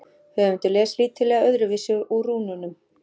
Höfundur les lítillega öðruvísi úr rúnunum.